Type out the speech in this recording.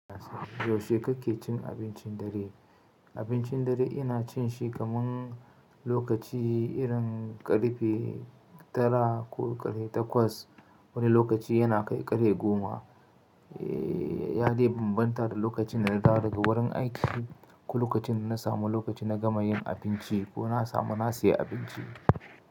Yaushe kake cin abincin dare? Abincin dare ina cin shi kaman lokaci irin ƙarfe tara ko ƙarfe takwas. Wani lokaci yana kai ƙarfe goma. Ya dai bambanta da lokacin da na dawo daga wurin aiki ko lokacin da na samu lokaci na gama yin abinci ko na samu na siya abinci.